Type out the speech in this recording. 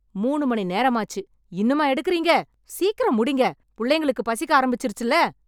மூனு மணி நேரமாச்சு, இன்னுமா எடுக்கறீங்க? சீக்கிரம் முடிங்க.... புள்ளைங்களுக்கு பசிக்க ஆரம்பிச்சிருச்சுல்ல.